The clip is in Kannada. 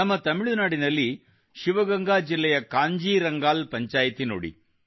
ನಮ್ಮ ತಮಿಳುನಾಡಿನಲ್ಲಿ ಶಿವಗಂಗಾ ಜಿಲ್ಲೆಯ ಕಾಂಜೀರಂಗಾಲ್ ಪಂಚಾಯಿತ್ ನೋಡಿ